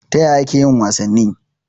Ya ake yin wasanni?